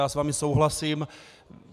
Já s vámi souhlasím.